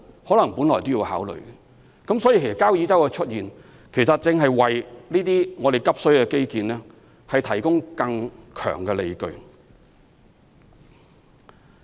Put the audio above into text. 所以，交椅洲的出現，正是為這些急需的基建提供更強的理據。